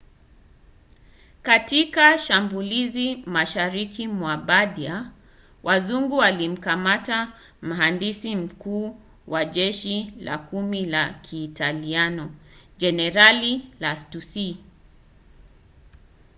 katika shambulizi mashariki mwa bardia wazungu walimkamata mhandisi mkuu wa jeshi la kumi la kiitaliano jenerali lastucci